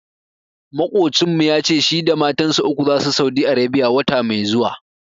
Maƙocinmu ya ce shi da matansa uku zasu Saudi Arebiya, wata mai zuwa.